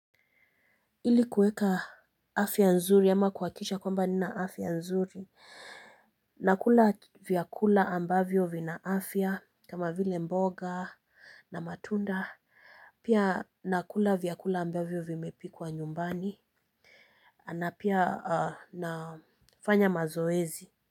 Ili kuweka afya nzuri ama kuhakikisha kwamba nina afya nzuri. Nakula vyakula ambavyo vina afya kama vile mboga na matunda, pia nakula vyakula ambavyo vimepikwa nyumbani na pia nafanya mazoezi.